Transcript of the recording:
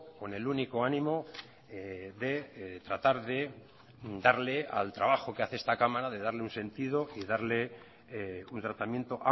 con el único ánimo de tratar de darle al trabajo que hace esta cámara de darle un sentido y darle un tratamiento